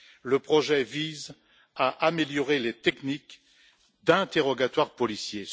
Ce projet vise à améliorer les techniques d'interrogatoire policier.